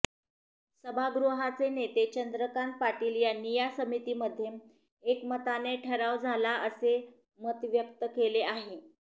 सभागृहाचे नेते चंद्रकांत पाटील यांनी या समितीमध्ये एकमताने ठराव झाला असे मत व्यक्त केले आहे